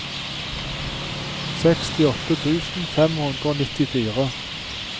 sekstiåtte tusen fem hundre og nittifire